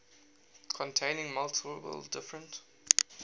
containing multiple different